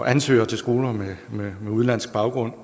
ansøgere til skoler med udenlandsk baggrund